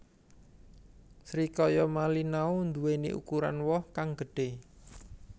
Srikaya Malinau nduweni ukuran woh kang gedhe